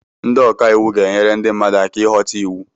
Ndị ọka iwu ga-enyere ndị mmadụ aka ịghọta iwu